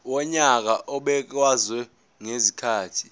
wonyaka obekwayo ngezikhathi